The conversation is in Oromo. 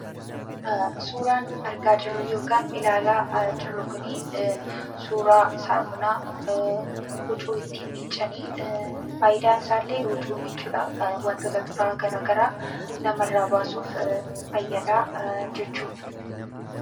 Suuraan argaa jirru kun suuraa saamunaa huccuu ittiin miiccan. Faayidaan isaallee huccuu miiccuu, wantoota xuraa'aa garaagaraa namarraa baasuuf fayyada jechuudha.